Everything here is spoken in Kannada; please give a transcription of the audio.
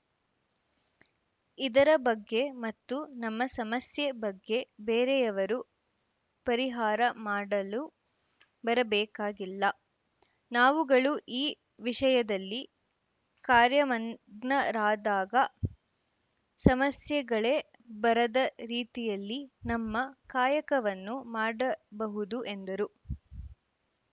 ಇದರ ಬಗ್ಗೆ ಮತ್ತು ನಮ್ಮ ಸಮಸ್ಯೆ ಬಗ್ಗೆ ಬೇರೆಯವರು ಪರಿಹಾರ ಮಾಡಲು ಬರಬೇಕಾಗಿಲ್ಲ ನಾವುಗಳು ಈ ವಿಷಯದಲ್ಲಿ ಕಾರ್ಯಮಗ್ನರಾದಾಗ ಸಮಸ್ಯೆಗಳೇ ಬರದ ರೀತಿಯಲ್ಲಿ ನಮ್ಮ ಕಾಯಕವನ್ನು ಮಾಡಬಹುದು ಎಂದರು